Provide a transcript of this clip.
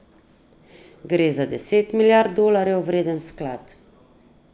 Gre za deset milijard dolarjev vreden sklad.